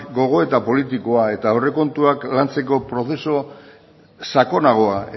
gogoeta politikoa eta aurrekontuak lantzeko prozesu sakonagoa